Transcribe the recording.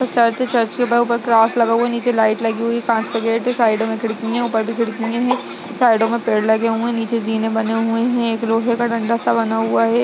Church है church के ऊपर क्रॉस लगा हुआ है नीचे लाइट लगी हुई है कांच का गेट है साइडों मे खिड़की है ऊपर भी खिड़की है साइडों मे पेड़ लगे हुए है नीचे जीने बने हुए है एक लोहे का डंडा सा बना हुआ है।